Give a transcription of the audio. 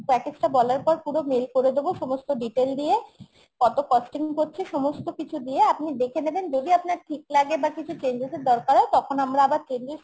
package টা বলার পর পুরো mail করে দেবো সমস্ত detail দিয়ে কত costing করছি সমস্ত কিছু দিয়ে আপনি দেখে নেবেন যদি আপনার ঠিক লাগে বা কিছু changes র দরকার হয় তখন আমরা আবার changes